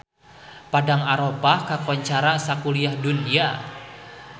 Padang Arafah kakoncara sakuliah dunya